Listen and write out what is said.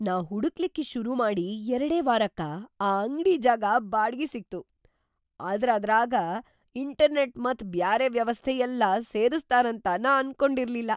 ನಾ ಹುಡಕ್ಲಿಕ್ಕಿ ಶುರುಮಾಡಿ ಎರಡೇ ವಾರಕ್ಕ ಆ ಅಂಗ್ಡಿ ಜಾಗ ಬಾಡ್ಗಿ ಸಿಕ್ತು, ಆದ್ರ ಅದ್ರಾಗ ಇಂಟರ್ನೆಟ್‌ ಮತ್ ಬ್ಯಾರೆ ವ್ಯವಸ್ಥಾ ಯೆಲ್ಲಾ ಸೇರಸ್ತಾರಂತ ನಾ ಅನ್ಕೊಂಡಿರ್ಲಿಲ್ಲಾ.